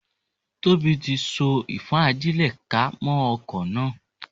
Tóbi tí so ìfọ́n-ajílẹ̀-ká mọ́ okò náà.